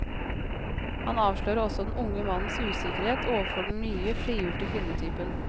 Han avslører også den unge mannens usikkerhet overfor den nye, frigjorte kvinnetypen.